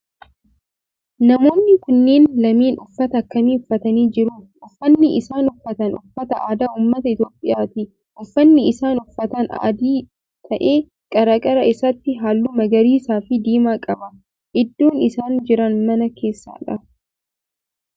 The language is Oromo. Namoonni kunneen lameen uffata akkamii uffatanii jiru? Uffanni isaan uffatan uffata aadaa ummata Itiyoophiyaati. Uffanni isaan uffatan adii ta'ee qarqara isaatii halluu magariisas fi diimaa qaba. Iddoon isaan jiran mana keessadha.